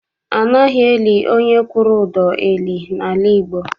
Anaghị eli onye kwụrụ ụdọ eli n'ala Igbo.